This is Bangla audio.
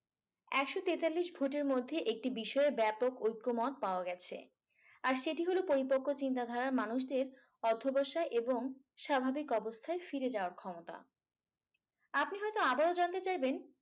একশ তেতাল্লিশ ভোটের মধ্যে একটি বিষয়ে ব্যাপক ঐক্যমত পাওয়া গেছে। আর সেটি হলো পরিপক্ক চিন্তাধারার মানুষদের অধ্যবসায় এবং স্বাভাবিক অবস্থায় ফিরে যাওয়ার ক্ষমতা। আপনি হয়তো আবারো জানতে চাইবেন